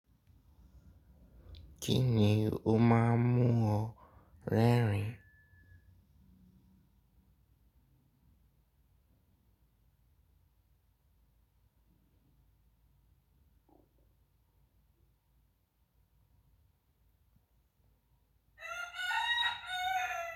Kí ni o máa mú ọ́ rẹrin?